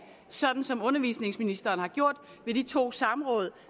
sådan som undervisningsministeren har gjort ved de to samråd